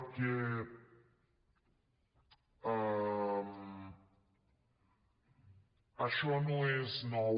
perquè això no és nou